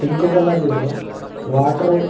pink colour లో water --